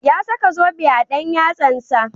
Ya saka zobe a dan yatsansa.